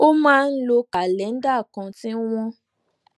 ó máa ń lo kàléńdà kan tí wọ́n